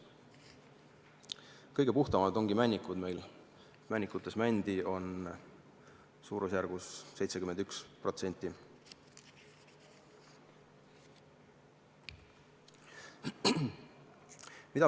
Kõige puhtamad ongi meil männikud, seal on mändi umbes 71%.